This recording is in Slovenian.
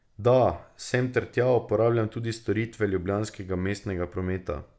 Da, sem ter tja uporabljam tudi storitve ljubljanskega mestnega prometa.